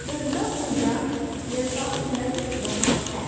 दुर्गा पूजा जैसा लग रहा है।